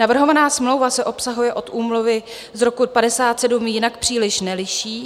Navrhovaná smlouva se obsahově od úmluvy z roku 1957 jinak příliš neliší.